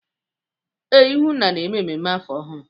Ee, ihunna na-eme mmemme afọ ọhụrụ.